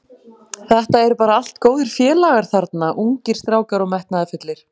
Þetta eru bara allt góðir félagar þarna, ungir strákar og metnaðarfullir.